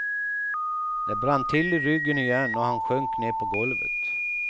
Det brann till i ryggen igen och han sjönk ner på golvet.